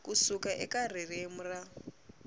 ku suka eka ririmi ra